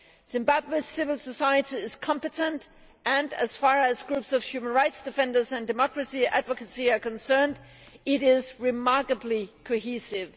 Zimbabwe's civil society is competent and as far as groups of human rights defenders and democracy advocacy are concerned, it is remarkably cohesive.